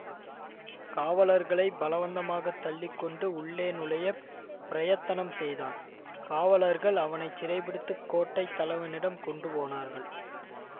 காவலர்களைப் பலவந்தமாகத் தள்ளி கொண்டு உள்ளே நுழைய பிரயத்தனம் செய்தான் காவலர்கள் அவனை சிறை பிடித்து கோட்டை தலவனிடம் கொண்டு போனார்கள்